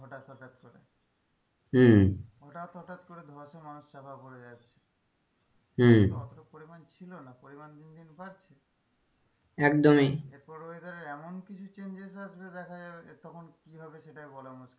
হম হঠাৎ হঠাৎ করে ধসে মানুষ চাপা পরে যাচ্ছে হম অতো পরিমান ছিল না পরিমান দিনদিন বাড়ছে একদমই এরপর weather এর এমন কিছু changes দেখা যাবে যে তখন কি হবে সেটাই বলা মুশকিল।